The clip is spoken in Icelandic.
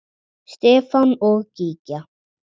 Stefán og Gígja.